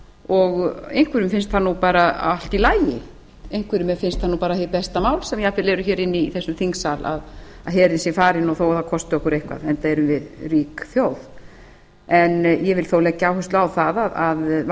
og einhverjum finnst það bara allt í lagi einhverjum finnst það bara hið besta mál sem eru hér inni í þessum þingsal að herinn sé farinn þó það kosti okkur eitthvað enda erum við rík þjóð en ég vil þó leggja áherslu á það að